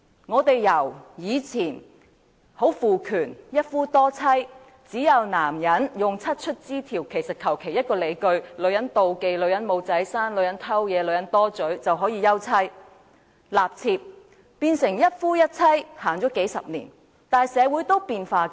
我們由以前的父權社會，一夫多妻，男人可以用"七出之條"或隨便以一個理由，例如女人妒忌、女人不能生育、女人偷竊或女人說話多便可以休妻立妾，演變成一夫一妻，至今已實行數十年，但社會仍在變化中。